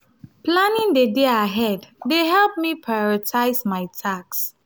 planning the day ahead dey help me prioritize my tasks.